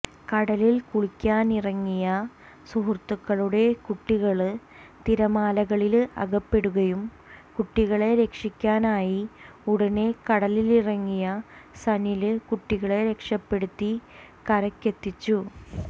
കടലിൽ കുളിക്കാനിറങ്ങിയ സുഹൃത്തുക്കളുടെ കുട്ടികള് തിരമാലകളില് അകപ്പെടുകയും കുട്ടികളെ രക്ഷിക്കാനായി ഉടനെ കടലിലിറങ്ങിയ സനില് കുട്ടികളെ രക്ഷപെടുത്തി കരയ്ക്കെത്തിച്ചു